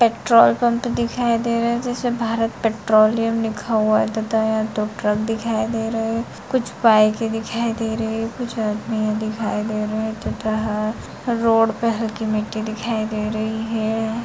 Petrol pump दिखाई दे रहे है जिसमें भारत पेट्रोलियम लिखा हुआ है तथा यहाँ दो ट्रक दिखाई दे रहे हैं | कुछ बाइके दिखाई दे रही है | कुछ आदमिये दिखाई दे रहे है तथा रोड पे हल्की मिट्टी दिखाई दे रही है।